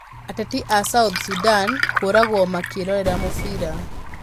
Ateti a South Sudan kũũragwo makĩrorera mũbira